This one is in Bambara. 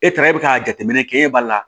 E taara e bɛ ka jateminɛ kɛ e b'a la